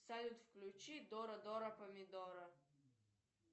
салют включи дора дора помидора